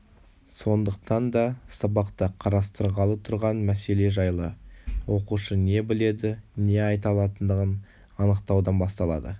сондықтан да сабақта қарастырғалы тұрған мәселе жайлы оқушы не біледі не айта алатындығын анықтаудан басталады